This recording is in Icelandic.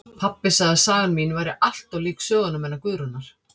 Pabbi sagði að sagan mín væri allt of lík sögunum hennar Guðrúnar